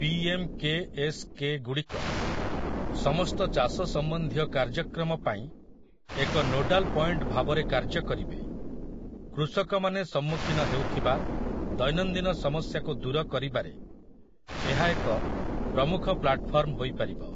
P. M. K. S. କେ.ଗୁଡ଼ିକ ସମସ୍ତ ଚାଷ ସମ୍ବନ୍ଧୀୟ କାର୍ଯ୍ୟକ୍ରମ ପାଇଁ ଏକ ନୋଡାଲ୍ ପଏଣ୍ଟ ଭାବରେ କାର୍ଯ୍ୟ କରିବେ । କୃଷକମାନେ ସମ୍ମୁଖୀନ ହେଉଥିବା ଦୈନନ୍ଦିନ ସମସ୍ୟାକୁ ଦୂର କରିବାରେ ଏହା ଏକ ପ୍ରମୁଖ ପ୍ଲାଟଫର୍ମ ହୋଇପାରିବ ।